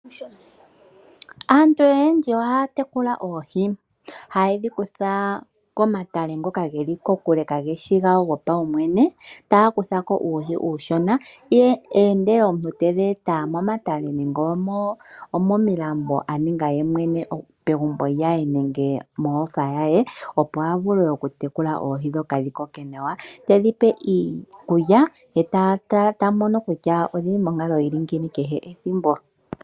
Aantu oyendji ohaya tekula oohi . Ohaye dhi kutha komatale ngoka geli kokule kaageshi gawo gopaumwene, taya kutha ko uuhi uushona. Ohawu etwa momatale nenge momilambo ndhoka tungwa komuntu yemwene megumbo nenge mohofa ye, opo a vule oku tekula oohi dhikoke nawa . Ohedhi pe iikulya, eta tala konkalo yadho ethimbo kehe.